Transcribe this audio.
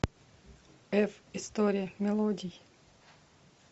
эф история мелодий